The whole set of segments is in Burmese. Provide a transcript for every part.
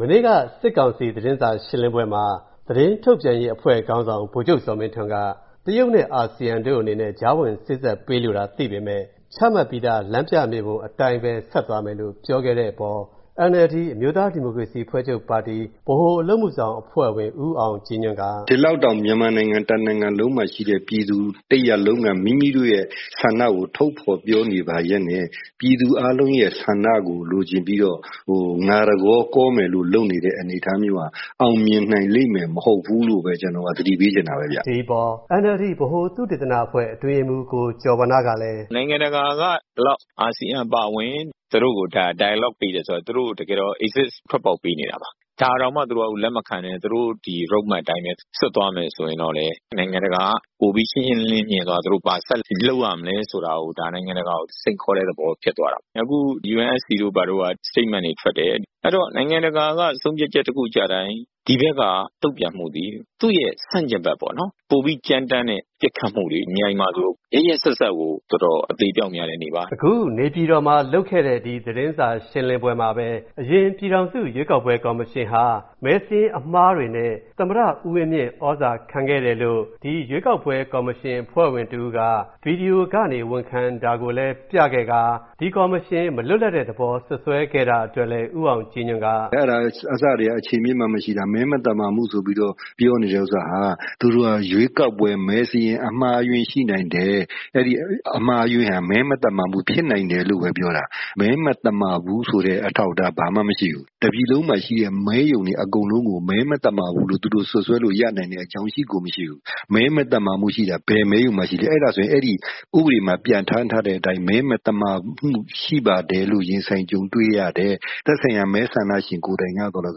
မနေ့က စစ်ကောင်စီ သတင်းစာရှင်းလင်းပွဲမှာ သတင်းထုတ်ပြန်ရေးခေါင်းဆောင် ဗိုလ်ချုပ်ဇော်မင်းထွန်းက တရုတ်နဲ့အာဆီယံတို့အနေနဲ့ကြားဝင်စေ့စပ်ပေးလိုတာသိပေမယ့် ချမှတ်ပြီးသား လမ်းပြမြေပုံအတိုင်းပဲ ဆက်သွားမယ်လို့ပြောခဲ့တဲ့အပေါ် NLD အမျိူးသားဒီမိုကရေစီအဖွဲ့ချုပ်ပါတီ ဗဟိုအလုပ်အမှုဆောင်အဖွဲ့ဝင် ဦးအောင်ကြည်ညွန့်က အခုလိုပြောပါတယ်။ “ ဒီလောက်တောင် မြန်မာနိုင်ငံတနိုင်ငံလုံးမှာရှိတဲ့ ပြည်သူတရပ်လုံးက မိမိတို့ရဲ့ ဆန္ဒကို ထုတ်ဖေါ်ပြောနေပါရက်နဲ့ပြည်သူအားလုံးရဲ့ဆန္ဒကို လိုချင်ပြီးတော့ ငါတကောကောမယ်လို့လုပ်နေတဲ့ အနေအထားမျိူးဟာ အောင်မြင်နိုင်လိမ့်မယ် မဟုတ်ဘူးလို့ပဲ ကျနော်ကတော့ သတိပေးချင်တာပဲဗျ” ဒီအပေါ် NLD ဗဟို သုတေသန အတွင်းရေးမှုး ကိုကျော်ဝဏ္ဏကလည်း “ နိုင်ငံတကာကလည်း အာဆီယံအပါအဝင် သူတို့ကို dialogue ပေးတယ်ဆိုတော့ သူတို့ကို တကယ်တော့ exit ထွက်ပေါက်ပေးနေတာပါ။ ဒါတောင်မှာ သူတို့ကလက်မခံပဲ သူတို့ Road Map အတိုင်းပဲ ဆက်သွားမယ်ဆိုလို့ရှိရင်လည်းပဲ နိုင်ငံတကာက ရှင်းရှင်းလင်းလင်းမြင်ပြီးတော့ သူတို့ဒါ နိုင်ငံတကာက ဘာဆက်လုပ်ရမလဲဆိုတာ နိုင်ငံတကာကို စိန်ခေါ်တဲ့ သဘောပေါ့။ အခု UNSC က statement တွေထွက်တယ်။ အဲဒီတော့ နိုင်ငံတကာက ဆုံးဖြတ်ချက်တခုကျတိုင်း ဒီဘက်က တုံ့ပြန်မှဟာ ဆန့်ကျင်ဘက်ပေါ့နော်။ ပိုပြီးကြမ်းတမ်းတဲ့ ပစ်ခတ်မှုတွေ။ မြိုင်မှာဆို ရက်ရက်စက်စက်ကို တော်တော် အသေအပျောက်များတဲ့နေ့ပါ။” အခု နေပြည်တော်မှာလုပ်ခဲ့တဲ့ သတင်းစာရှင်းလင်းပွဲမှာပဲ အရင်ပြည်ထောင်စုရွေးကောက်ပွဲကော်မရှင်ဟာ မဲစာရင်းအမှားတွေနဲ့သမ္မတ ဦးဝင်းမြင့်သြဇာခံခဲ့တယ်လို့ ဒီရွေးကောက်ပွဲကော်မရှင်အဖွဲ့ဝင်တဦးက ဗွီဒီယိုကနေ ဝန်ခံတာကိုလည်း ပြခဲ့ကာ ဒီကော်မရှင်မလွတ်လပ်တဲ့သဘောစွတ်စွဲ ခဲ့တာကိုလည်း ဦးအောင်ကြည်ညွန့်က အခုလိုပြောပါတယ်။ “ အဲဒါက အစထဲက အခြေအမြစ်မှ မရှိတာ။ မဲမသမာမှုဆိုပြီးတော့ ပြောနေတဲ့ ဥစ္စာဟာ သူတို့က ရွေးကောက်ပွဲ မဲစာရင်းအမှားအယွင်းရှိနိုင်တယ်။ အဲဒီအမှားအယွင်းဟာ မဲမသမာမှုဖြစ်နိုင်တယ်လို့ပဲပြောတာ။ မဲမသမာဘူးဆိုတဲ့ အထောက်အထားဘာမှ မရှိဘူး။ တပြည်လုံးမှာရှိတဲ့ မဲရုံတွေအကုန်လုံးကို မဲမသမာဘူးလို့သူတို့စွတ်စွဲတဲ့ အကြောင်း ရှိကို မရှိဘူး။ မဲမသမာမှုရှိတာ ဘယ်မဲရုံမှာရှိလဲ။ အဲဒါဆို အဲဒီ ဥပဒေမှာ ပြဌာန်းထားတဲ့အတိုင်းပဲ မဲမသမာမှုရှိပါတယ်လို့ ရင်ဆိုင်ကြုံတွေ့ရ တဲ့ သက်ဆိုင်ရာ မဲဆန္ဒရှင်ကိုယ်တိုင်ကသော်လည်း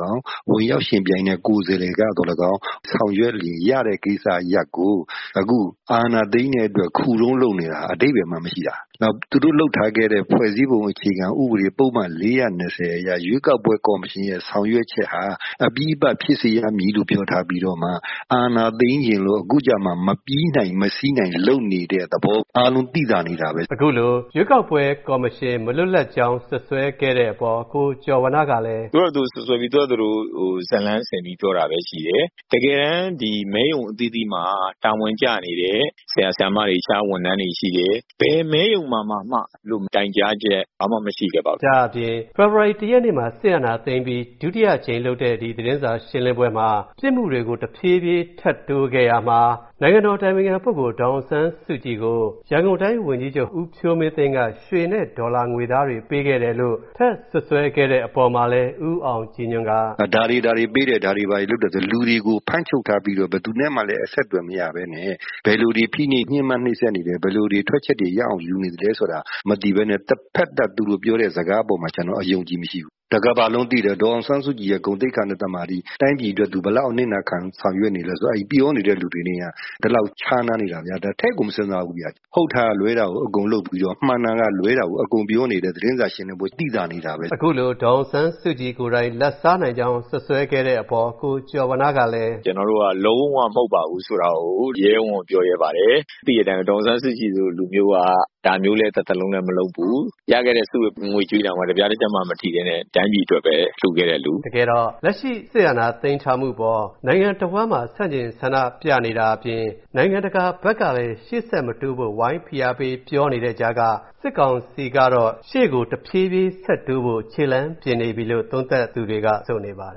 ကောင်း၊ ဝင်ရောက်ယှဉ်ပြိုင်တဲ့ ကိုယ်စားလှယ်ကသော်လည်းကောင်း၊ ဆောင်ရွက်လို့ရတဲ့ကိစ္စရပ်ကို အခု အာဏာသိမ်းတဲ့အတွက် ခုတုံးလုပ်နေတာ အဓိပ္ပါယ်မှ မရှိတာ။ နောက်ပြီးတော့ သူတို့လုပ်ထားခဲ့တဲ့ ဖွဲ့စည်းပုံအခြေခံဥပဒေ ပုဒ်မ ၄၀၂ အရ ရွေးကောက်ပွဲ ကော်မရှင်ရဲ့ ဆောင်ရွက်ချက်ဟာ အပြီးသပ်ဖြစ်စေရမည်လို့ ပြောထားပြီးမှ အာဏာသိမ်းချင်လို့အခုကျမှ မပြီးနိုင်၊ မစီးနိုင်လုပ်နေတဲ့ သဘော အားလုံးသိသာနေတာပဲ”။ အခုလို ရွေးကောက်ပွဲကော်မရှင်မလွတ်လပ်ကြောင်း စွတ်စွဲခဲ့တဲ့အပေါ် ကိုကျော်ဝဏ္ဏကလည်း အခုလို ပြောပါတယ်။ “သူတို့ဖာသာ သူတို့စွတ်စွဲပြီးတော့ သူတို့ဘာသူတို့ဇာတ်လမ်းဆင်ပြီးတော့ ပြောတာပဲရှိတယ်။ တကယ်တမ်း မဲရုံအသီးသီးမှာ တာဝန်ကျနေတဲ့ ဆရာဆရာမတွေ၊ အခြားဝန်ထမ်းတွေရှိတယ်။ ဘယ်မဲရုံမှာမှ အဲလို တိုင်ကြားချက်မရှိခဲ့ပါဘူး။” ဒါ့အပြင် ဖေဖော်ဝါရီ ၁ ရက်နေ့မှာ စစ်အာဏာသိမ်းပြီး ဒုတိယအကြိမ်လုပ်တဲ့ ဒီ သတင်းစာရှင်းလင်းပွဲမှာ ပစ်မှုတွေကို တဖြည်းဖြည်းထပ်တိုးခဲ့ရာမှာ နိုင်ငံတော်အတိုင်ပင်ခံပုဂ္ဂိုလ် ဒေါ်အောင်ဆန်းစုကြည်ကို ရန်ကုန်တိုင်းဝန်ကြီးချုပ် ဦးဖြိုးမင်းသိန်းက ရွှေ နဲ့ဒေါ်လာငွေသားတွေ ပေးခဲ့တယ်လို့ထပ်စွတ်စွဲခဲ့တဲ့အပေါ်မှာလည်း ဦးအောင်ကြည်ညွန့်က အခုလို ပြောပါတယ်။ “ဒါတွေ ဒါတွေပေးတယ်။ ဒါတွေ ဘာတွေလုပ်တယ်ဆိုပြီးတော့။ လူတွေကို ဖမ်းချုပ်ထားပြီးတော့ ဘယ်သူနဲ့မှလည်း အဆက်အသွယ်မရပဲနဲ့ ဘယ်လို တွေဖိနှိပ် ညှင်းပမ်းနှိပ်စက်နေသလဲ၊ ဘယ်လိုတွေ ထွက်ချက်ရအောင်ယူနေသလဲ ဆိုတာမသိပဲနဲ့တဘက်သတ် သူတို့ပြောတဲ့ စကားအပေါ်မှာ ကျနော်က အယုံအကြည်မရှိဘူး။ တကမ္ဘာလုံးသိတယ် ။ ဒေါ်အောင်ဆန်းစုကြည်ရဲ့ ဂုဏ်သိက္ခာနဲ့သမာဓိ။ တိုင်းပြည်အတွက် သူဘယ်လောက်ထိ အနစ်နာခံပြီးဆောင်ရွက်နေလဲဆိုတာ အဲဒီပြောနေတဲ့သူတွေနဲ့ က ဒီလောက်ခြားနားနေတာများ ထည့်ကို မစဉ်းစားဘူးဗျ။ ဟုတ်တာကလွဲတာကို အကုန်လုပ်ပြီးတော့၊ မှန်တာကလွဲတာကို အကုန်ပြောနေတဲ့ သူတို့သတင်းစာရှင်းလင်းပွဲက သိသာနေတာပဲ။” အခုလို ဒေါ်အောင်ဆန်းစုကြည်ကိုယ်တိုင် လာဒ်စားနိုင်ကြောင်းစွတ်စွဲတဲ့အပေါ် ကိုကျော်ဝဏ္ဏကလည်း “ ကျနော်တို့က လုံးဝမဟုတ်ပါဘူးဆိုတာကို ရဲရဲဝံ့ဝံ့ပြောရဲပါတယ်။ သိတဲ့အတိုင်းပဲ ဒေါ်အောင်ဆန်းစုကြည်လို လူမျိူးက ဒါမျိူးလည်းတသက်လုံးမလုပ်ဘူး။ ရခဲ့တဲ့ ဆုငွေကြေးတောင်မှ တပြားတချပ်မှမထိပဲနဲ့ တိုင်းပြည်အတွက်ပဲ လှူခဲ့တဲ့လူ။” တကယ်တော့ လက်ရှိစစ်အာဏာသိမ်းထားမှုအပေါ် နိုင်ငံတဝှမ်းမှာ ဆန့်ကျင်ဆန္ဒပြနေတာကဖြင့် နိုင်ငံတကာဘက်ကလည်း ရှေ့ဆက်မတိုးဖို့ဝိုင်းဖိအားပေးပြောနေတဲ့ ကြားကမှ စစ်ကောင်စီကတော့ တဖြေးဖြေးရှေ့ကို ဆက်တိုးဖို့ခြေလှမ်းပြင်နေပြီလို့သုံးသပ်သူတွေက ဆိုနေပါတ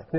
ယ် ခင်ဗျ